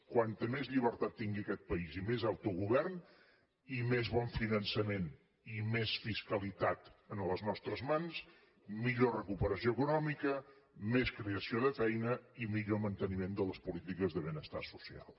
com més llibertat tingui aquest país i més autogovern i més bon finançament i més fiscalitat a les nostres mans millor recuperació econòmica més creació de feina i millor manteniment de les polítiques de benestar social